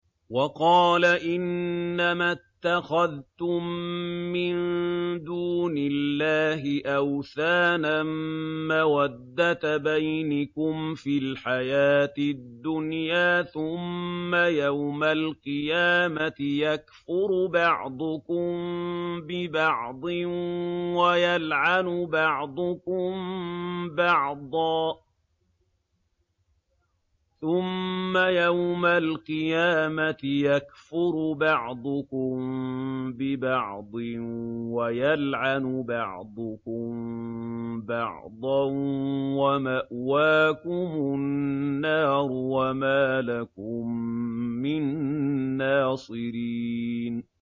وَقَالَ إِنَّمَا اتَّخَذْتُم مِّن دُونِ اللَّهِ أَوْثَانًا مَّوَدَّةَ بَيْنِكُمْ فِي الْحَيَاةِ الدُّنْيَا ۖ ثُمَّ يَوْمَ الْقِيَامَةِ يَكْفُرُ بَعْضُكُم بِبَعْضٍ وَيَلْعَنُ بَعْضُكُم بَعْضًا وَمَأْوَاكُمُ النَّارُ وَمَا لَكُم مِّن نَّاصِرِينَ